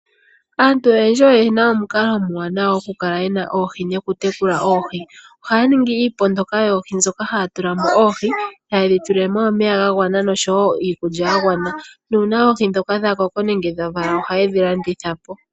Aantu oyendji oyena omukalo omwaanawa oku kala yena oohi nokutekula oohi. Ohaya ningi oondama moka haya tula mo oohi moka hayedhi tulile mo omeya niikulya yagwana. Uuna oohi ndhoka dhakoko nenge dhavala ohayedhi landitha po.